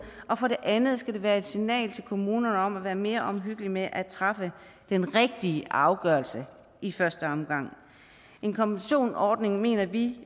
og for det andet skal det være et signal til kommunerne om at være mere omhyggelig med at træffe den rigtige afgørelse i første omgang en kompensationsordning mener vi